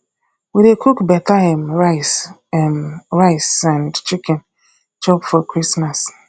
we dey cook beta um rice um rice and chicken chop for christmas